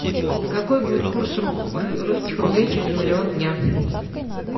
какой будет курс русских рублей через миллион дня